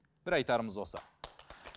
бір айтарымыз осы